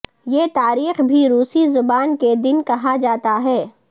یہ تاریخ بھی روسی زبان کے دن کہا جاتا ہے